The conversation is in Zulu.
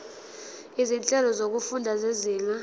izinhlelo zokufunda zezinga